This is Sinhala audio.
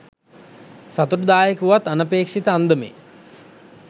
සතුටුදායක වුවත් අනපේක්ෂිත අන්දමේ